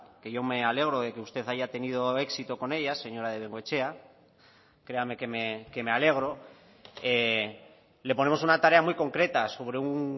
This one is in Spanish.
que yo me alegro de que usted haya tenido éxito con ella señora de bengoechea créame que me alegro le ponemos una tarea muy concreta sobre un